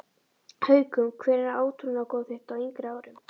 Haukum Hver var átrúnaðargoð þitt á yngri árum?